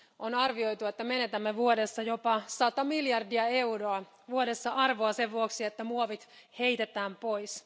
On arvioitu, että menetämme vuodessa jopa sata miljardia euroa arvoa sen vuoksi, että muovit heitetään pois.